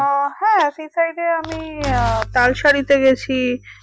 হ্যাঁ sea side এ আমি আহ তালশাড়িতে গেছি